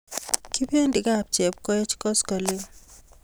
Kipendi kap Chepkoech koskoling'